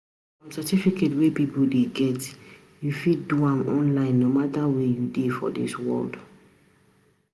Some certificate wey people dey get, u fit do am online no matter where u dey for dis world.